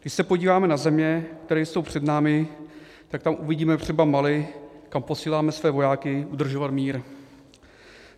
Když se podíváme na země, které jsou před námi, tak tam uvidíme třeba Mali, kam posíláme své vojáky udržovat mír.